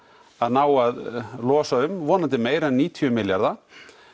að ná að losa um vonandi meira en níutíu milljarða